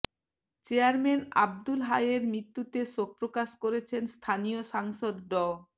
chairman Abdul হাইয়ের মৃত্যুতে শোক প্রকাশ করেছেন স্থানীয় সাংসদ ড